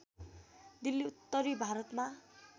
दिल्ली उत्तरी भारतमा